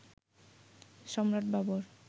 Samrat Babur